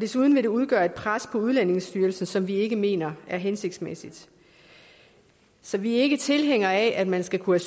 desuden vil det udgøre et pres på udlændingestyrelsen som vi ikke mener er hensigtsmæssigt så vi er ikke tilhængere af at man skal kunne